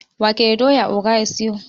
wake da doya oga ya siyo